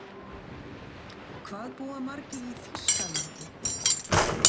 Hvað búa margir í Þýskalandi?